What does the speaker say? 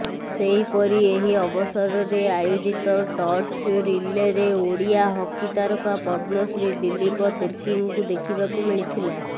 ସେହିପରି ଏହି ଅବସରରେ ଆୟୋଜିତ ଟର୍ଚ୍ଚ ରିଲେରେ ଓଡ଼ିଆ ହକି ତାରକା ପଦ୍ମଶ୍ରୀ ଦିଲ୍ଲୀପ ତିର୍କୀଙ୍କୁ ଦେଖିବାକୁ ମିଳିଥିଲା